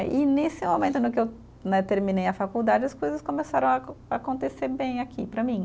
E nesse momento no que eu, né, terminei a faculdade, as coisas começaram a com, a acontecer bem aqui para mim.